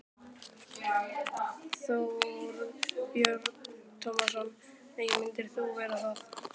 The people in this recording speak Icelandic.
Þorbjörn Tómasson: Nei, myndir þú vera það?